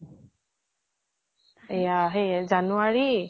এয়া সেই january